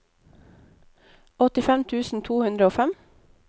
åttifem tusen to hundre og fem